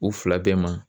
U fila bɛɛ ma